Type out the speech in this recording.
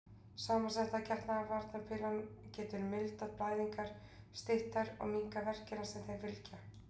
Samsetta getnaðarvarnarpillan getur mildað blæðingar, stytt þær og minnkað verkina sem þeim fylgja.